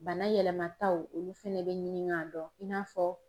Bana yɛlɛmataw olu fɛnɛ bɛ ɲini k'a dɔn i n'a fɔ